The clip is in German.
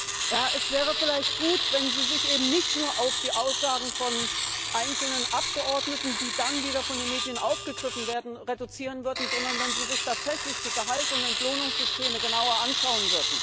Es wäre vielleicht gut, wenn Sie sich eben nicht nur auf die Aussagen von einzelnen Abgeordneten, die dann wieder von den Medien aufgegriffen werden, reduzieren würden, sondern wenn Sie sich tatsächlich die Gehalts und Entlohnungssysteme genauer anschauen würden.